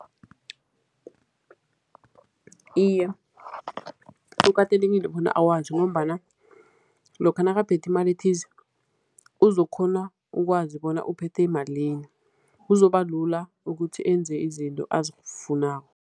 Iye, kukatelekile bona awazi ngombana lokha nakaphethe imali ethize, uzokukghona ukwazi bona uphethe malini. Kuzobalula ukuthi enze izinto azifunako.